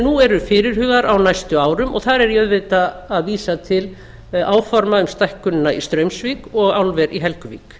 nú eru fyrirhugaðar á næstu árum og þar er ég auðvitað að vísa til áforma um stækkunina í straumsvík og álver í helguvík